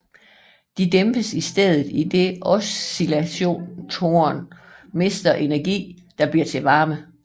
De dæmpes i stedet idet oscillatoren mister energi der bliver til varme